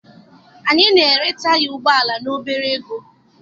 Anyị na-ere taya ụgbọala n'ebere ego.